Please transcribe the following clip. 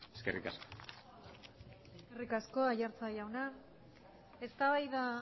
eskerrik asko eskerrik asko aiartza jauna eztabaida